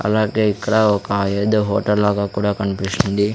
అలాగే ఇక్కడ ఒక ఏదో హోటల్ లాగా కూడా కన్పిస్తుంది.